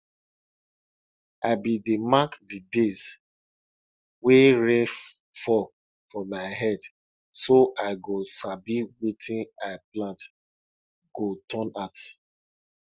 i bin dey mark the days wey rain fall for my head so i go sabi wetin i plant go turn out